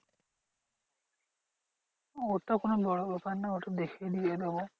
ওটা কোনো বড় ব্যাপার না ওটা দেখে দিয়ে দেব।